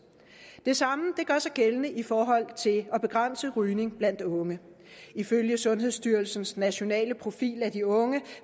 det samme gør sig gældende i forhold til at begrænse rygning blandt unge ifølge sundhedsstyrelsens nationale profil af de unge